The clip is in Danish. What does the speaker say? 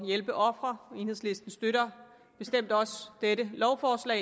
hjælpe ofre og enhedslisten støtter bestemt også dette lovforslag